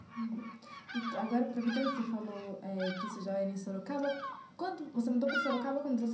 Uhum agora, aproveitando que você falou eh que isso já era em Sorocaba, quando você mudou para Sorocaba com